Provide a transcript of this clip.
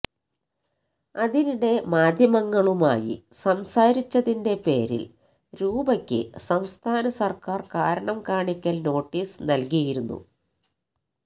അതിനിടെ മാധ്യമങ്ങളുമായി സംസാരിച്ചതിന്റെ പേരില് രൂപയ്ക്ക് സംസ്ഥാന സര്ക്കാര് കാരണം കാണിക്കല് നോട്ടീസ് നല്കിയിരുന്നു